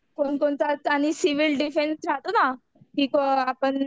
कोणकोणतं आणि civil defence राहतो ना तिथं आपण.